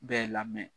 Bɛɛ lamɛn